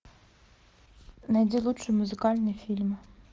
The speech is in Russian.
найди лучшие музыкальные фильмы